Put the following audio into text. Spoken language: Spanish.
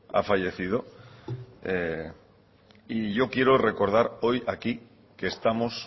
ha fallecido y yo quiero recordar hoy aquí que estamos